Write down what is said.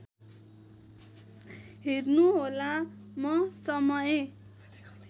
हेर्नुहोला म समय